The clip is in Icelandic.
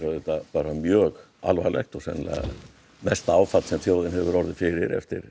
auðvitað bara mjög alvarlegt og sennilega mesta áfall sem þjóðin hefur orðið fyrir eftir